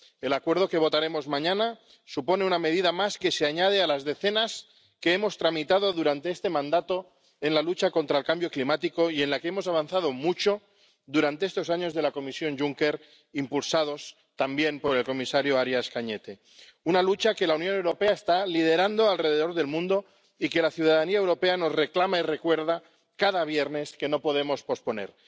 El acuerdo que votaremos mañana supone una medida más que se añade a las decenas que hemos tramitado durante este mandato en materia de lucha contra el cambio climático, en la que hemos avanzado mucho durante estos años de la Comisión Juncker, impulsados también por el comisario Arias Cañete una lucha que la Unión Europea está liderando en todo el mundo y que la ciudadanía europea nos reclama y recuerda cada viernes que no podemos posponer